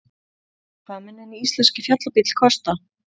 Hvað mun hinn íslenski fjallabíll kosta?